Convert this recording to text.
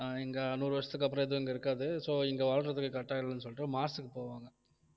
ஆஹ் இங்க நூறு வருஷத்துக்கு அப்புறம் எதுவும் இங்க இருக்காது so இங்க வாழ்றதுக்கு correct ஆ இல்லைன்னு சொல்லிட்டு மார்ஸ்க்கு போவாங்க